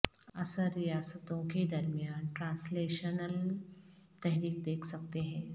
عصر ریاستوں کے درمیان ٹرانسلیشنل تحریک دیکھ سکتے ہیں